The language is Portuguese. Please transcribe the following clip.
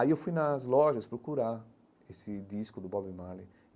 Aí eu fui nas lojas procurar esse disco do Bob Marley.